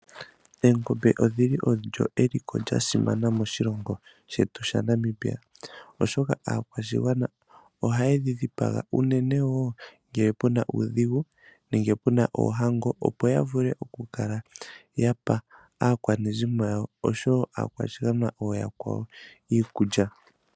Oongombe odhili osho eliko lyasima meliko moshilongo shetu shaNamibia oshoka aakwashigwana ohaye dhi dhipaga uunene woo ngele pena uudhigu nenge oohango opo yavule okukala yapa aakwanezimo yawo osho woo aakwashigwana ooyakwawo iikulya.